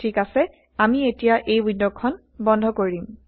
ঠিক অাছে আমি এতিয়া এই ৱিণ্ডখন বন্ধ কৰিম